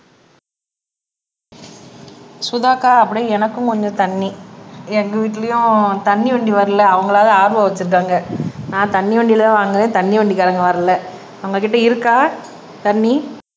சுதா அக்கா அப்படியே எனக்கும் கொஞ்சம் தண்ணி எங்க வீட்லயும் தண்ணி வண்டி வரல அவங்களாவது RO வச்சிருக்காங்க நான் தண்ணி வண்டியில தான் வாங்குவேன் தண்ணி வண்டிக்காரங்க வரல உங்ககிட்ட இருக்கா தண்ணி